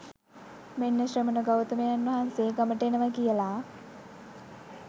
මෙන්න ශ්‍රමණ ගෞතමයන් වහන්සේ ගමට එනවා කියලා